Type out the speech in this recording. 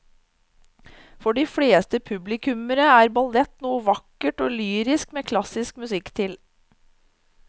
For de fleste publikummere er ballett noe vakkert og lyrisk med klassisk musikk til.